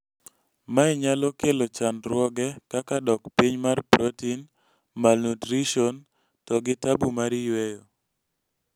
mae nyalo kelo chandruoge kaka dok piny mar protein, malnutrition to gi tabu mar yweyo